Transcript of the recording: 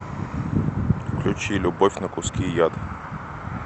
включи любовь на куски яд